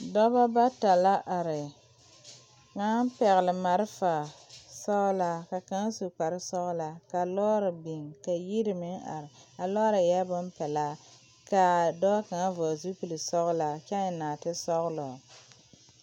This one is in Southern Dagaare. Dɔbɔ bata la are kaŋ pɛgle malfa sɔglaa ka kaŋa su kparesɔglaa ka lɔɔre biŋ ka yiri meŋ are a lɔɔre eɛɛ bonpelaa kaa dɔɔ kaŋa vɔgle zupilsɔglaa kyɛ eŋ naate sɔglɔ.